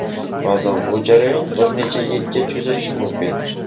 Ba’zan bu jarayon bir necha yilga cho‘zilishi mumkin.